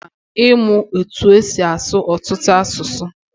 O mma ịmụ etu esi asụ ọtụtụ asụsụ.